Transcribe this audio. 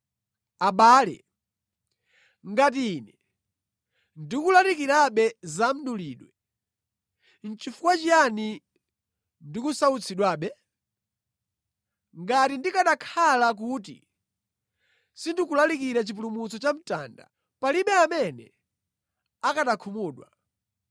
Abale, ngati ine ndikulalikirabe za mdulidwe, nʼchifukwa chiyani ndikusautsidwabe? Ngati ndikanakhala kuti sindikulalikira chipulumutso cha mtanda, palibe amene akanakhumudwa.